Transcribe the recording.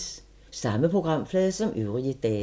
Samme programflade som øvrige dage